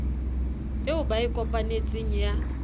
eo ba e kopanetseng ya